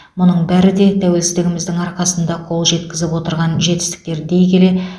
бұның бәрі де тәуелсіздігіміздің арқасында қол жеткізіп отырған жетістіктер дей келе